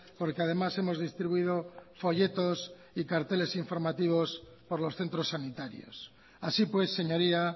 porque además hemos distribuido folletos y carteles informativos por los centros sanitarios así pues señoría